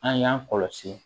An y'an kɔlɔsi